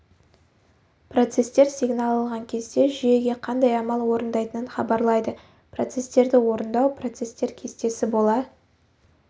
процестер сигнал алған кезде жүйеге қандай амал орындайтынын хабарлайды процестерді орындау процестер кестесі бола